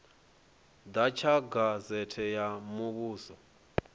ḓa tsha gazete ya muvhuso